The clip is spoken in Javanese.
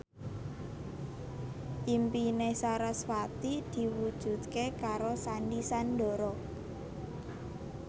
impine sarasvati diwujudke karo Sandy Sandoro